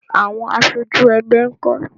Àwọn aṣojú ẹgbẹ́ nkọ?